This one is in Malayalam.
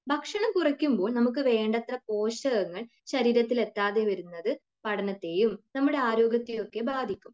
ഭക്ഷണം കുറയ്ക്കുമ്പോൾ നമുക്ക് വേണ്ടത്ര പോഷകങ്ങൾ ശരീരത്തിൽ എത്താതെ വരുന്നത് പഠനത്തെയും നമ്മുടെ ആരോഗ്യത്തെയും ഒക്കെ ബാധിക്കും.